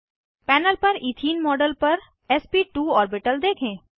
panel पर ethene model पर एसपी2 ऑर्बिटल देखें